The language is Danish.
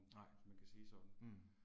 Nej, mh